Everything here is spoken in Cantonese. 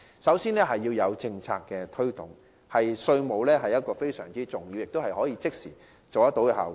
首先，在政策推動方面，稅務安排非常重要，能產生即時的效果。